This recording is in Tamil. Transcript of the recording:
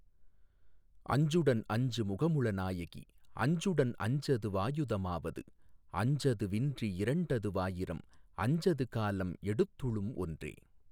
அஞ்சுடன் அஞ்சு முகமுள நாயகி அஞ்சுடன் அஞ்சது வாயுத மாவது அஞசது வின்றி இரண்டது வாயிரம் அஞ்சது காலம் எடுத்துளும் ஒன்றே.